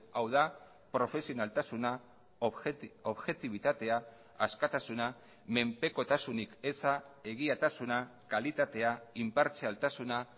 hau da profesionaltasuna objektibitatea askatasuna menpekotasunik eza egiatasuna kalitatea inpartzialtasuna